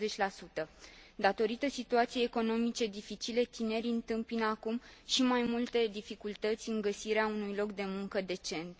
20 Datorită situației economice dificile, tinerii întâmpină acum și mai multe dificultăți în găsirea unui loc de muncă decent.